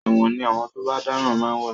ẹ̀wọ̀n ní àwọn tó bá dáràn ma ń wà.